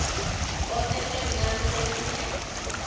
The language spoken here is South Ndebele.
osese mncani kwesinye